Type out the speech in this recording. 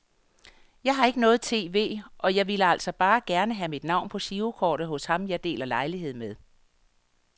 Jeg har ikke noget tv, og jeg ville altså bare gerne have mit navn på girokortet hos ham jeg deler lejlighed med.